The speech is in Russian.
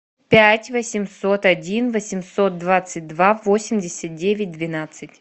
пять восемьсот один восемьсот двадцать два восемьдесят девять двенадцать